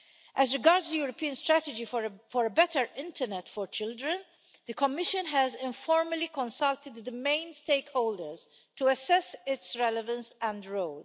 As regards the European Strategy for a Better Internet for Children, the Commission has informally consulted the main stakeholders to assess its relevance and role.